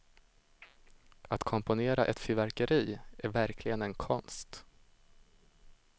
Att komponera ett fyrverkeri är verkligen en konst.